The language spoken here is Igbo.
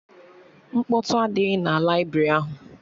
Mkpọtụ adịghị na laibrị ahụ